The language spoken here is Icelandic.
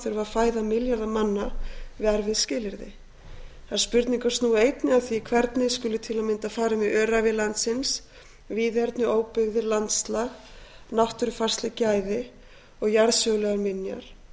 þurfa að fæða milljarða manna við erfið skilyrði þær spurningar snúa einnig að því hvernig skuli til að mynda farið með öræfi landsins víðerni óbyggðir landslag náttúrufarsleg gæði og jarðsögulegar minjar